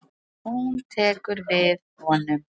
Hún tekur við honum.